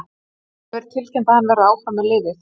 Nú hefur verið tilkynnt að hann verði áfram með liðið.